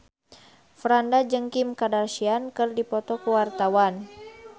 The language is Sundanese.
Franda jeung Kim Kardashian keur dipoto ku wartawan